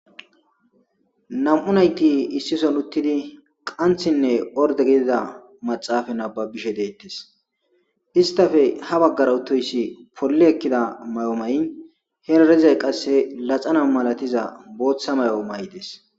nam7u nayti issison uttidi qanthinne orde gidida maxaafa nababishe deettes istafe ha baggara utoyssi polle ekkida may7o may7i he larizay qasse laxana malatiza booththa may7o may7 des